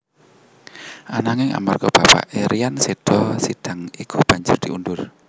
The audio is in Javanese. Ananging amarga bapaké Ryan seda sidang iku banjur diundur